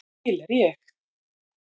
Til er ég.